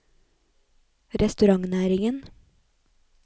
restaurantnæringen